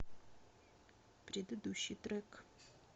предыдущий трек